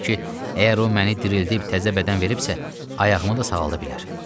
Deyirdi ki, əgər o məni dirildib təzə bədən veribsə, ayağımı da sağalda bilər.